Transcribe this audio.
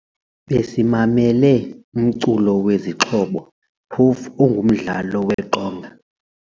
Besimamele umculo wezixhobo phofu ongumdlalo weqonga.